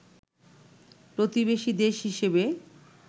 প্রতিবেশী দেশ হিসেবে